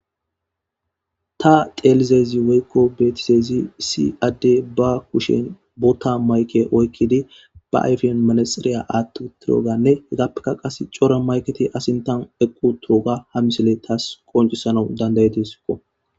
ta telizezi woykko beetiseeyzi si adde ba kushen bootta mayke oykkidi ba ayfiyan manasxiriya aattu turooganne hegappeka qas cora mayketi asintan eqqu turoga ha misile taas qoncisanau dandayetisiko